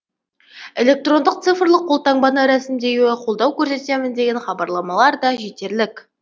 электрондық цифрлық қолтаңбаны рәсімдеуге қолдау көрсетемін деген хабарламалар да жетерлік